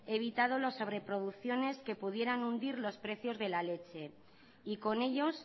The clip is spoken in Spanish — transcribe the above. evitado las sobre producciones que pudieran hundir los precios de la leche y con ellos